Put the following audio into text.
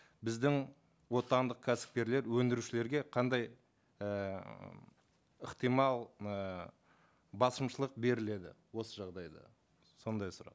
біздің отандық кәсіпкерлер өндірушілерге қандай ііі ықтимал ііі басымшылық беріледі осы жағдайда сондай сұрақ